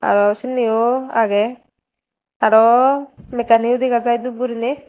aro sindiyo agey aro megkkaniyo dega jai dup guriney.